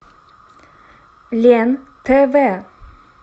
лен тв